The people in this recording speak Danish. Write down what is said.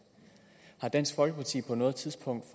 har dansk folkeparti på noget tidspunkt